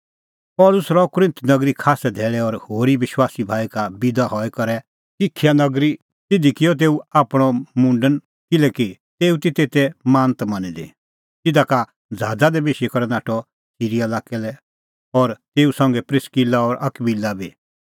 पल़सी रहअ कुरिन्थ नगरी खास्सै धैल़ै और होरी विश्वासी भाई का बिदा हई करै आअ किंखिया नगरी तिधी किअ तेऊ आपणअ मुंडन किल्हैकि तेऊ ती तेते मानत मनी दी तिधा का ज़हाज़ा दी बेशी करै नाठअ सिरीया लाक्कै लै और तेऊ संघै तै प्रिस्किला और अकबिला बी